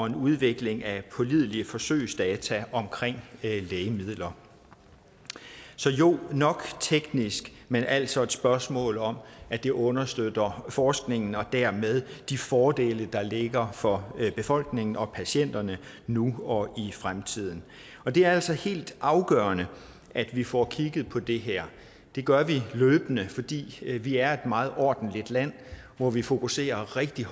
en udvikling af pålidelige forsøgsdata om lægemidler så jo nok teknisk men altså et spørgsmål om at det understøtter forskningen og dermed de fordele der ligger for befolkningen og patienterne nu og i fremtiden det er altså helt afgørende at vi får kigget på det her det gør vi løbende fordi vi er et meget ordentligt land hvor vi fokuserer rigtig